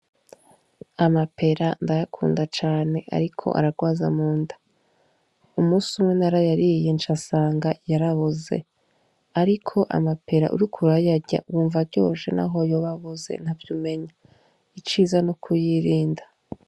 Amapera ndayakunda cane, ariko ararwaza munda umusi umwe narayariye nca sanga yaraboze, ariko amapera uriko urayarya wumva aryoshe naho yoba aboze ntavyo umenya iciza ni kuyirinda.